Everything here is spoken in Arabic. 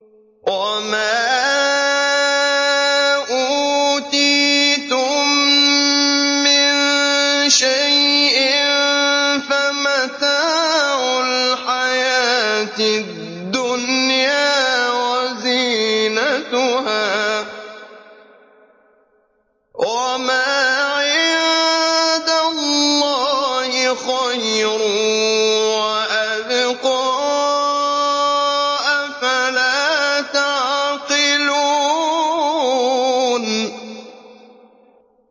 وَمَا أُوتِيتُم مِّن شَيْءٍ فَمَتَاعُ الْحَيَاةِ الدُّنْيَا وَزِينَتُهَا ۚ وَمَا عِندَ اللَّهِ خَيْرٌ وَأَبْقَىٰ ۚ أَفَلَا تَعْقِلُونَ